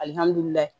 Alihamudulila